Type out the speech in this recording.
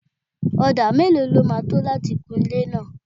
Odà mélòó lọ ma tó láti kun ilé náà?